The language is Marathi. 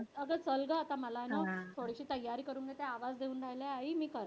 अगं चल गं आता मला ना थोडीशी तयारी करून घेते. आवाज येऊन राहिलाय मी करते.